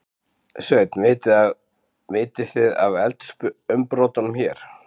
Sveinn: Vitið þið af eldsumbrotunum hér?